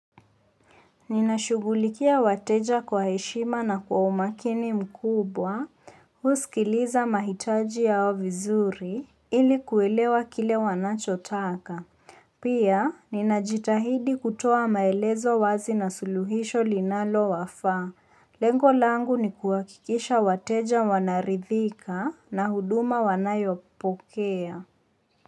Nina shugulikia wateja kwa heshima na kuwa umakini mkubwa, huskiliza mahitaji yaho vizuri iliku elewa kile wanachotaka. Pia, nina jitahidi kutoa maelezo wazi na suluhisho linalo wafaa. Lengo langu nikuhakikisha wateja wanaridhika na huduma wanayo pokea.